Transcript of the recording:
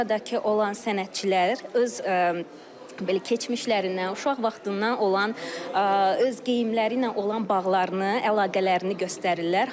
Oradakı olan sənətçilər öz belə keçmişlərindən, uşaq vaxtından olan öz geyimləriylə olan bağlarını, əlaqələrini göstərirlər.